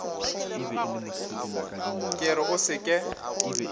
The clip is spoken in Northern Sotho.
ke re o se ke